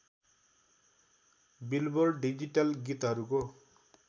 billboard digital गीतहरूको